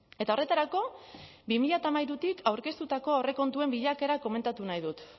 eta horretarako bi mila hamairutik aurkeztutako aurrekontuen bilakaera komentatu nahi dut